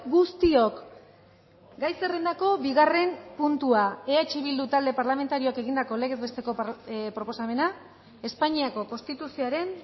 guztiok gai zerrendako bigarren puntua eh bildu talde parlamentarioak egindako legez besteko proposamena espainiako konstituzioaren